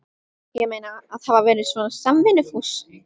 Ég meina, að hafa verið svona samvinnufús.